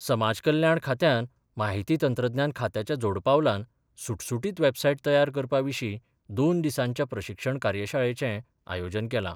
समाजकल्याण खात्यान माहिती तंत्रज्ञान खात्याच्या जोडपालवान सुटसुटीत वेबसायट तयार करपा विशीं दोन दिसांच्या प्रशिक्षण कार्यशाळेचे आयोजन केलां.